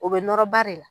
O bɛ nɔrɔ ba de la